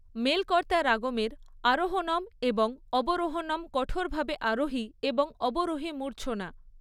মেলকর্তা রাগমের আরোহণম এবং অবরোহণম কঠোরভাবে আরোহী এবং অবরোহী মূর্ছনা।